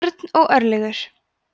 örn og örlygur